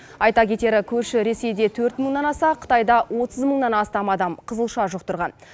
айта кетері көрші ресейде төрт мыңнан аса қытайда отыз мыңнан астам адам қызылша жұқтырған